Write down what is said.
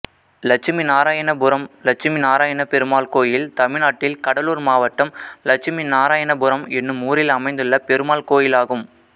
லட்சுமிநாராயணபுரம் லட்சுமி நாராயணப்பெருமாள் கோயில் தமிழ்நாட்டில் கடலூர் மாவட்டம் லட்சுமிநாராயணபுரம் என்னும் ஊரில் அமைந்துள்ள பெருமாள் கோயிலாகும்